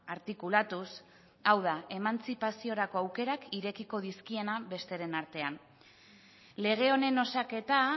artikulatuz hau da emantzipaziorako aukerak irekiko dizkienak besteren artean lege honen osaketa